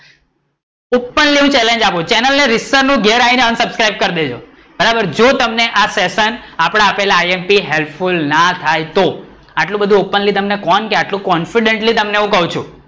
openly challenge આપું છું channel ને રીતસર નું ઘરે આયી ને unsubscriber કરી દેજો બરાબર જો તમને આ સેશન આપડા આપેલા imphelpful ના થાય તો આટલું બધું openly તમને કોણ કે આટલું definitly તમને કવ છું